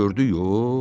gördü yox.